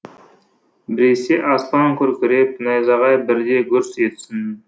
біресе аспан күркіреп найзағай бірде гүрс етсін